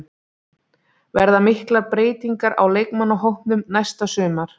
Verða miklar breytingar á leikmannahópnum næsta sumar?